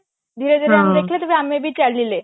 ଧୀରେ ଧୀରେ ଆମେ ଦେଖିଲେ ତାପରେ ଆମେ ବି ଚାଲିଲେ